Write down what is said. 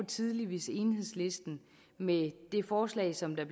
tidligt hvis enhedslisten med det forslag som er